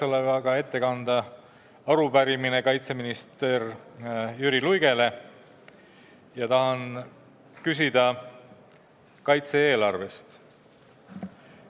Mul on üle anda arupärimine kaitseminister Jüri Luigele ja tahan temalt küsida kaitse-eelarve kohta.